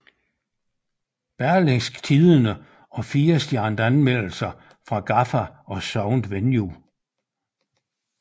Berlingske Tidende og 4 stjernede anmeldelser fra Gaffa og Soundvenue